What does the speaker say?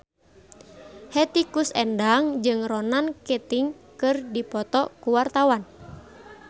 Hetty Koes Endang jeung Ronan Keating keur dipoto ku wartawan